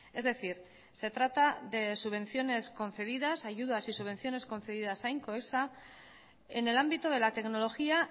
es decir se trata de subvenciones concedidas ayudas y subvenciones concedidas a incoesa en el ámbito de la tecnología